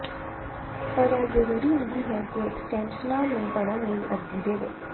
ਪਰ ਇਹ ਜ਼ਰੂਰੀ ਨਹੀਂ ਹੈ ਕਿ ਐਕਸਟੈਂਸ਼ਨਾਂ ਨੂੰ ਭਰਨ ਲਈ ਅਰਜ਼ੀ ਦੇਵੇ